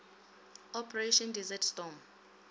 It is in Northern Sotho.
operation desert storm